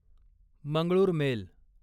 Mangalore mail